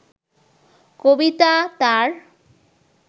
কবিতা তার